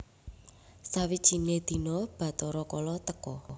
Sawijine dina Bathara Kala teka